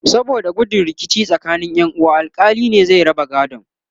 saboda gudun rikici tsakanin Ƴan uwa alkali ne zai raba gadon